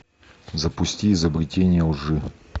запусти изобретение лжи